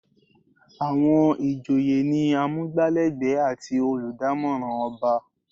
Àwọn ìjòyè ni amugbalegbe àti oludamoran ọba.